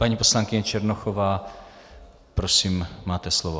Paní poslankyně Černochová, prosím, máte slovo.